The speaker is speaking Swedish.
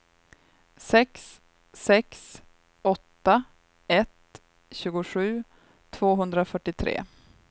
sex sex åtta ett tjugosju tvåhundrafyrtiotre